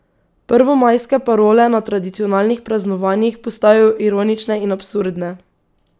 Prvomajske parole na tradicionalnih praznovanjih postajajo ironične in absurdne.